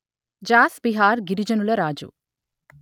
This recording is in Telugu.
జాస్ బిహార్ గిరిజనుల రాజు